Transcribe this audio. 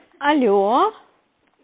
алло